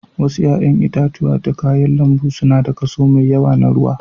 Wasu 'ƴa'ƴan itatuwa da kayan lambu suna da kaso mai yawa na ruwa.